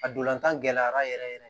A dolan gɛlɛyara yɛrɛ yɛrɛ yɛrɛ